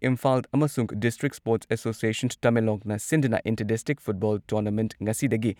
ꯏꯝꯐꯥꯜ ꯑꯃꯁꯨꯡ district sports association ꯇꯃꯦꯡꯂꯣꯡꯅ ꯁꯤꯟꯗꯨꯅ ꯏꯟꯇꯔ ꯗꯤꯁꯇ꯭ꯔꯤꯛ ꯐꯨꯠꯕꯣꯜ ꯇꯣꯔꯅꯥꯃꯦꯟꯠ ꯉꯁꯤꯗꯒꯤ